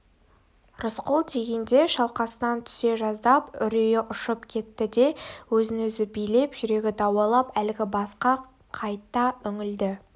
рысқұл дегенде шалқасынан түсе жаздап үрейі ұшып кетті де өзін-өзі билеп жүрегі дауалап әлгі басқа қайта үңілді